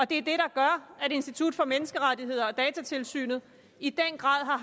det der gør at institut for menneskerettigheder og datatilsynet i den grad har